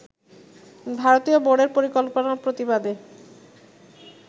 ভারতীয় বোর্ডের পরিকল্পনার প্রতিবাদে